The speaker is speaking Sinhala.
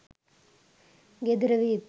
ගෙදර විත්